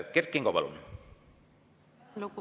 Kert Kingo, palun!